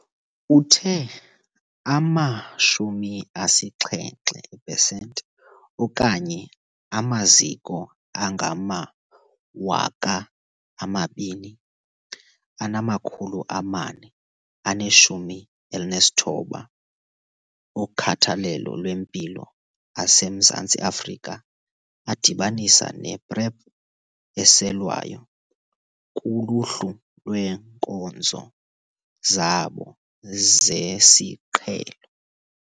Uthe ama-70 pesenti, okanye amaziko angama-2 419 okhathalelo lwempilo aseMzantsi Afrika adibanisa ne-PrEP eselwayo kuluhlu lweenkonzo zabo zesiqhelo.